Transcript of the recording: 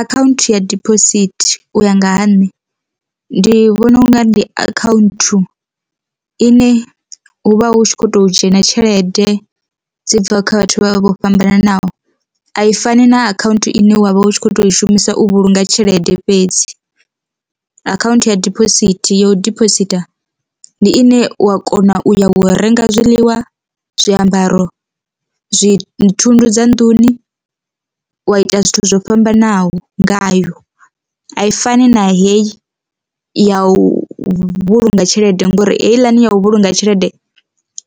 Akhaunthu ya diphosithi u ya nga ha nṋe, ndi vhona unga ndi akhaunthu ine hu vha hu tshi kho to dzhena tshelede dzi bva kha vhathu vha vha vho fhambananaho, a i fani na akhaunthu ine wa vha hu tshi kho to i shumisa u vhulunga tshelede fhedzi. Akhaunthu ya diphosithi ya u debositha ndi ine wa kona u ya u renga zwiḽiwa, zwiambaro, zwi thundu dza nnḓuni wa ita zwithu zwo fhambanaho ngayo a i fani na heyi ya u vhulunga tshelede ngori heiḽani ya u vhulunga tshelede